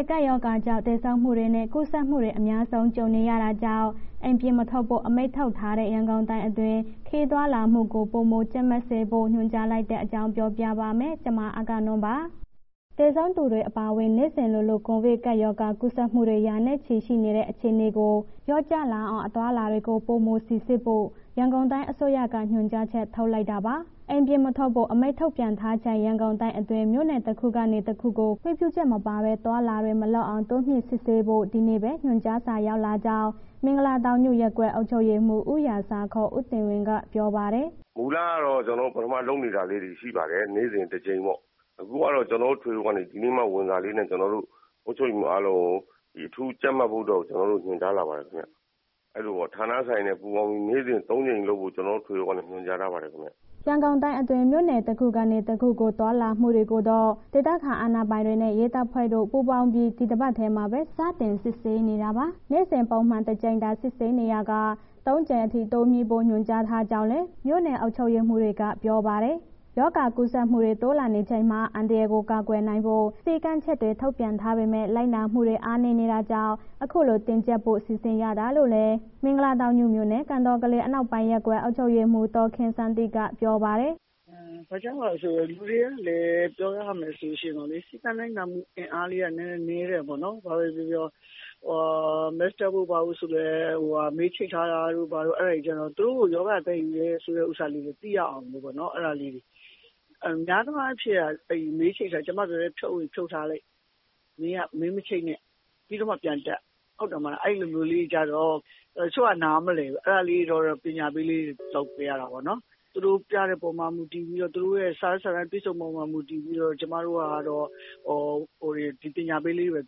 စ်ကပ်ရောဂါကြောင့် သေဆုံးမှုတွေနဲ့ ကူးစက်မှုတွေ အများဆုံး ကြုံနေရတာကြောင့် အိမ်ပြင်မထွက်ဖို့ အမိန့်ထုတ်ထားတဲ့ ရန်ကုန်တိုင်းအတွင်း ခရီးသွားလာမှုကို ပိုမိုကြပ်မတ်စစ်ဆေးဖို့ ညွှန်ကြားလိုက်တဲ့အကြောင်း ပြောပြပါမယ်။ ဗွီအိုအေမြန်မာပိုင်းသတင်းထောက် မအဂ္ဂနွန်က သတင်းပေးပို့ထားပါတယ်။ သေဆုံးသူတွေအပါအဝင် နေ့စဉ်လိုလို ကိုဗစ်ရောဂါ ကူးစက်မှုတွေ ရာနဲ့ချီ ရှိနေတဲ့ အခြေအနေကို လျှော့ချနိုင်အောင် အသွားအလာတွေကို ပိုမိုစိစစ်ဖို့ ရန်ကုန်တိုင်းအစိုးရက ညွှန်ကြားချက် ထုတ်လိုက်တာပါ။ အိမ်ပြင်မထွက်ဖို့ အမိန့်ထုတ်ထားချိန် ရန်ကုန်တိုင်းအတွင်း မြို့နယ်တခုကနေ တခုကို ခွင့်ပြုချက်မပါဘဲ သွားလာတာတွေ မလုပ်အောင် တိုးမြှင့်စစ်ဆေးဖို့ ဒီနေ့ပဲ ညွှန်ကြားစာရောက်လာကြောင်း မင်္ဂလာတောင်ညွန့်ရပ်ကွက် အုပ်ချုပ်ရေးမှူး ဦးရာဇာ ဦးတင်ဝင်းက ပြောပါတယ်။ “မူလကတော့ ကျနော်တို့ ပထမလုပ်နေတာလေးတွေ ရှိပါတယ်၊ နေ့စဉ် တစ်ကြိမ်ပေါ့။ အခုကတော့ ကျနော်တို့ ထွေအုပ်ကနေ ဒီနေ့မှ ဝင်လာတဲ့စာလေးနဲ့ ကျနော်တို့ အုပ်ချုပ်ရေးမှူးအားလုံးကို အထူးကြပ်မတ်ဖို့အတွက်ကို ကျနော်တို့ကို ညွှန်ကြားလာပါတယ်ခင်ဗျာ။ အဲ့လိုပေါ့ ဌာနဆိုင်ရာတွေနဲ့ ပူးပေါင်းပြီးတော့ နေ့စဉ် သုံးကြိမ်လုပ်ဖို့ ကျနော်တို့ ထွေအုပ်ကနေ ညွှန်ကြားထားပါတယ်ခင်ဗျ။” ရန်ကုန်တိုင်းအတွင်း မြို့နယ်တခုကနေ တခုကို သွားလာမှုတွေကိုတော့ ဒေသခံအာဏာပိုင်တွေနဲ့ ရဲတပ်ဖွဲ့တို့ ပူးပေါင်းပြီး ဒီတပတ်ထဲမှာပဲ စတင်စစ်ဆေးနေတာပါ။ နေ့စဉ် ပုံမှန် ၁ ကြိမ်သာ စစ်ဆေးနေရာက ၃ ကြိမ်အထိ တိုးမြှင့်ဖို့ ညွှန်ကြားထားကြောင်းလည်း မြို့နယ် အုပ်ချုပ်ရေးမှူးတွေက ပြောပါတယ်။ ရောဂါကူးစက်မှုတွေ တိုးလာနေချိန်မှာ အန္တရာယ်ကို ကာကွယ်နိုင်ဖို့ ထုတ်ပြန်ထားပေမဲ့ လိုက်နာမှုတွေ အားနည်းတာကြောင့် အခုလို တင်းကြပ်ဖို့ စီစဉ်ရတာလို့လည်း မင်္ဂလာတောင်ညွန့်မြို့နယ် ကန်တော်ကလေး ရပ်ကွက် အုပ်ချုပ်ရေးမှူး ဒေါ်ခင်စန်းတင့်က ပြောပါတယ်။ “ဘာကြောင့်လည်းဆိုတော့ လူတွေကလည်း ပြောရမယ်ဆိုလို့ရှိရင် စည်းကမ်းလိုက်နာမှု အင်အားလေးက နည်းနည်းတယ်ပေါ့နော်၊ ဘာပဲပြောပြော Mask တပ်ဖို့ဘာဖို့ဆိုတာလည်း ဟိုဟာ မေးချိတ်ထားတာတို့ ဘာတို့ အဲ့ဒါတွေကျတော့ သူတို့ကို ရောဂါသယ်ယူတယ်ဆိုတဲ့ ဥစ္စာသိရအောင်ပေါ့နော် အဲ့ဒါလေးတွေ၊ များသောအားဖြင့်က မေးချိတ်တာ ကျမပြောတယ် ဖြုတ်ရင် ဖြုတ်ထားလိုက်၊မေးမချိတ်နဲ့ ပြီးတော့မှ ပြန်တပ် ဟုတ်တယ်မလား အဲ့လိုမျိုးကျတော့ တချို့က နားမလည်ဘူး၊ အဲ့ဒါလေးတော့ ပညာပေးလေးတွေ လုပ်ပေးရတာပေါ့နော်၊ သူတို့ ပြတဲ့အပေါ်မူတည်ပြီးတော့ သူတို့ရဲ့ စာရွက်စာတမ်းပြည့်စုံမှု မူတည်ပြီးတော့ ကျမတို့ကတော့ ပညာပေးလေးတွေပဲ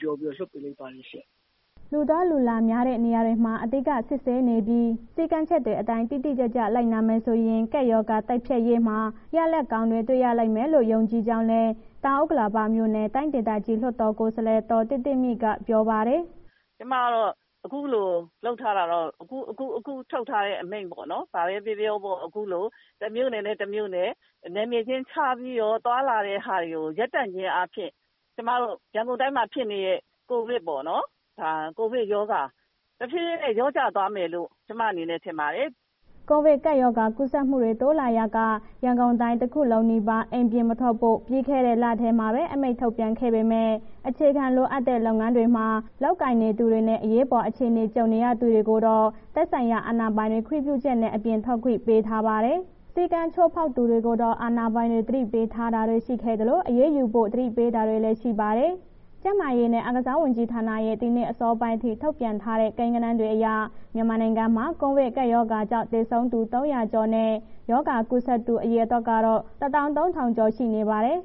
ပြောပြီးတော့ လွှတ်ပေးလိုက်ပါတယ်။” လူသွားလူလာများတဲ့ နေရာတွေမှာ အဓိက စစ်ဆေးနေပြီး၊ စည်းကမ်းချက်တွေအတိုင်း တိတိကျကျ လိုက်နာမယ်ဆိုရင် ကပ်ရောဂါ တိုက်ဖျက်ရေးမှာ ရလဒ်ကောင်းတွေ တွေ့ရလိမ့်မယ်လို့ ယုံကြည်ကြောင်းလည်း တောင်ဥက္ကလာပမြို့နယ် တိုင်းဒေသကြီး လွှတ်တော်ကိုယ်စားလှယ် ဒေါ်သစ်သစ်မြင့်က ပြောပါတယ်။ “ကျမကတော့ အခုလို လုပ်ထားတာတော့ အခုအခုထုတ်ထားတဲ့ အမိန့်ပေါ့နော်။ ဘာပဲပြောပြောပေါ့ အခုလို တစ်မြို့နယ်နဲ့ တစ်မြို့နယ် နယ်မြေခြင်းခြားပြီးတော့ သွားလာတဲ့ဟာတွေကို ရပ်တန့်ခြင်းအားဖြင့် ကျမတို့ ရန်ကုန်တိုင်းမှာဖြစ်နေတဲ့ ကိုဗစ်ပေါ့နော်၊ ဒါကိုဗစ်ရောဂါ တဖြည်းဖြည်းနဲ့ လျော့သွားမယ်လို့ ကျမအနေနဲ့ထင်ပါတယ်။” ကိုဗစ်ကပ်ရောဂါ ကူးစက်မှုတွေ တိုးလာရာက ရန်ကုန်တိုင်း တခုလုံးနီးပါး အိမ်ပြင်မထွက်ဖို့ ပြီးခဲ့တဲ့လထဲမှာပဲ အမိန့်ထုတ်ခဲ့ပေမဲ့ အခြေခံလိုအပ်တဲ့ လုပ်ငန်းတွေမှာ လုပ်ကိုင်နေသူတွေနဲ့ အရေးပေါ် အခြေအနေကြုံရသူတွေကိုတော့ သက်ဆိုင်ရာ အာဏာပိုင်တွေ ခွင့်ပြုချက်နဲ့ အပြင်ထွက်ခွင့် ပေးထားပါတယ်။ စည်းကမ်းချိုးဖောက်သူတွေကိုတော အာဏာပိုင်တွေ သတိပေးတာတွေ ရှိခဲ့သလို အရေးယူဖို့ သတိပေးတာတွေလည်း ရှိပါတယ်။ ကျန်းမာရေးနဲ့ အားကစားဝန်ကြီးဌာနရဲ့ ဒီနေ့အစောပိုင်းအထိ ထုတ်ပြန်ထားတဲ့ ကိန်းဂဏန်းတွေအရ မြန်မာနိုင်ငံမှာ ကိုဗစ်ကပ်ရောဂါကြောင့် သေဆုံးသူ ၃၀၀ ကျော်နဲ့ ရောဂါကူးစက်သူ အရေအတွက်တော့ ၁၃,၀၀၀ ကျော် ရှိနေပါတယ်။